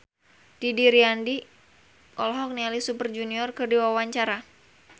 Didi Riyadi olohok ningali Super Junior keur diwawancara